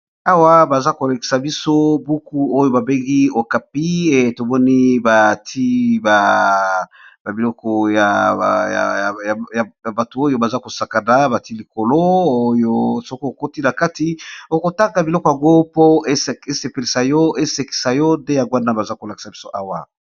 awa baza kolekisa biso buku oyo babengi okapie tomoni bati babiloko ya bato oyo baza kosakana bati likolo oyo soko okoti na kati okotanga biloko ya ngo po esepelisa yo esekisa yo nde ya ngwanda baza kolekisa biso awa